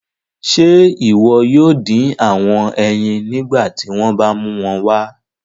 Ṣe iwọ yoo din awọn eyin nigbati wọn ba mu wọn wá?